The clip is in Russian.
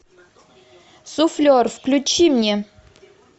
суфлер включи мне